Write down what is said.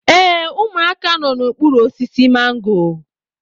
Ee, ụmụaka nọ n'okpuru osisi mango